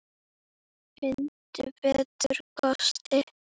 Finndu betri kosti!